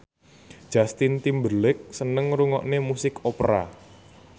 Justin Timberlake seneng ngrungokne musik opera